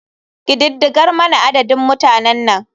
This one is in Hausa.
Ƙididdigar mana adadin mutanan nan.